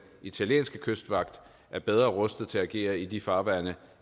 italienske kystvagt er bedre rustet til at agere i de farvande